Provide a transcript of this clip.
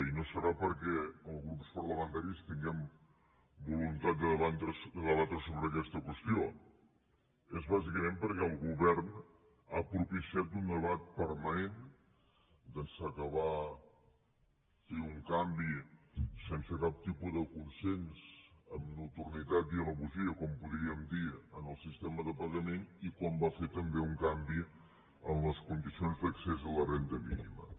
i no serà perquè els grups parlamentaris tinguem voluntat de debatre sobre aquesta qüestió és bàsicament perquè el govern ha propiciat un debat permanent d’ençà que va fer un canvi sense cap tipus de consens amb nocturnitat i traïdoria com ho podríem dir en el sistema de pagament i quan va fer també un canvi en les condicions d’accés a la renda mínima